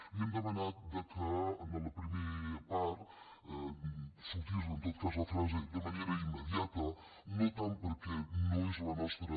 li hem demanat que en la primera part sortís en tot cas la frase de manera immediata no tant perquè no és la nostra